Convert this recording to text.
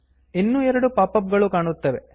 ಇನ್ನೂ ಎರಡು pop up ಗಳು ಕಾಣುತ್ತವೆ